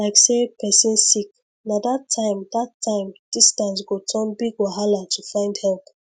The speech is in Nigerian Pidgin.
like say person sick na that time that time distance go turn big wahala to find help